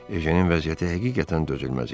Ejennin vəziyyəti həqiqətən dözülməz idi.